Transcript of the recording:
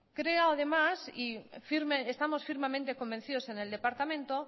creo además y estamos firmemente convencidos en el departamento